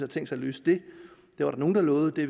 tænkt sig at løse det det var der nogle der lovede det